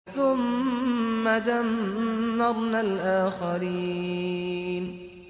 ثُمَّ دَمَّرْنَا الْآخَرِينَ